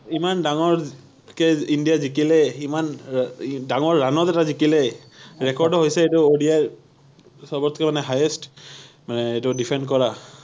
ইমান ডাঙৰকে ইন্ডিয়া জিকিলে, ইমান ডাঙৰ ৰাণ ত এটা জিকিলে, record ও হৈছে এইটো ODI সৱতকে মানে highest মানে এইটো defend কৰা৷